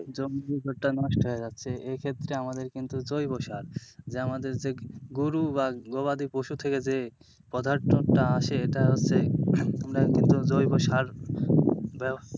জমির উর্বরতা নষ্ট হয়ে যাচ্ছে এক্ষেত্রে আমাদের কিন্তু জৈবসার যা আমাদের যে গরু বা গবাদিপশু থেকে যে পদার্থটা আসে এটা হচ্ছে তোমরা কিন্তু জৈবসার,